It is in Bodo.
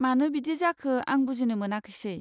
मानो बिदि जाखो आं बुजिनो मोनाखैसै।